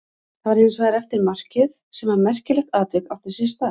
Það var hins vegar eftir markið sem að merkilegt atvik átti sér stað.